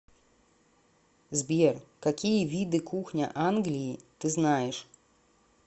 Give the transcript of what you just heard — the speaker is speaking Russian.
сбер какие виды кухня англии ты знаешь